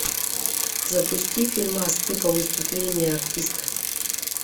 запусти фильмас типа выступления артиста